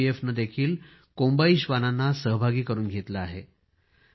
सीआरपीएफने कोम्बाई श्वानांना सहभागी करून घेतले आहे